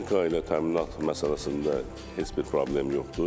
Texnika ilə təminat məsələsində heç bir problem yoxdur.